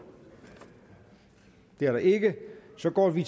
det er der ikke så går vi